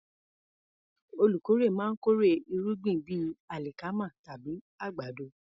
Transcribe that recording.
Olùkórè máa ń kórè irúgbìn bíi alikama tàbí àgbàdo.